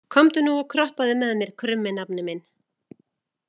Komdu nú og kroppaðu með mér, krummi nafni minn.